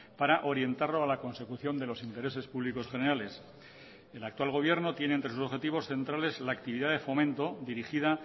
para orientarlo a la consecución de los intereses públicos generales el actual gobierno tiene entre sus objetivos centrales la actividad de fomento dirigida